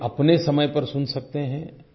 आपके अपने समय पर सुन सकते हैं